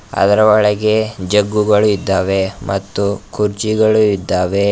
ಅದರ ಒಳಗೆ ಜಗ್ಗುಗಳು ಇದ್ದಾವೆ ಮತ್ತು ಕುರ್ಚಿಗಳು ಇದ್ದಾವೆ.